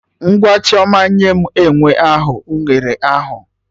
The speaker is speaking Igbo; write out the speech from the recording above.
Ngwa Chioma! Nye enwe ahụ unere ahụ!